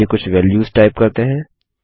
चलिए कुछ values type करते हैं